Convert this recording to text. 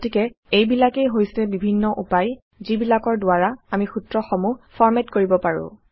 গতিকে এইবিলাকেই হৈছে বিভিন্ন উপায় যিবিলাকৰ দ্বাৰা আমি সূত্ৰসমূহ ফৰমেট কৰিব পাৰো